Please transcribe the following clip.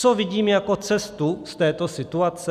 Co vidím jako cestu z této situace?